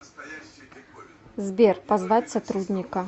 сбер позвать сотрудника